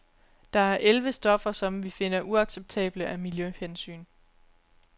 Der er elleve stoffer, som vi finder uacceptable af miljøhensyn.